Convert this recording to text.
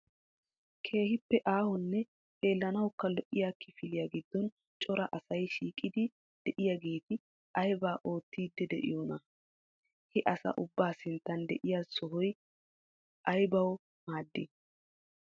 Keehippe aahonne xeellanawukka lo"iyaa kifiliyaa giddon cora asay shiiqidi de'iyaageeti aybaa oottiiddi de'iyoona? He asa ubba sinttan de'iya sohoy aybbawu maaddii?